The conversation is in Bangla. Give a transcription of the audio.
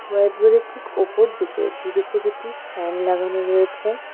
হোয়াইট বোর্ডের ঠিক ওপর দিকে দুদিকে দুটি ফ্যান লাগানো রয়েছে।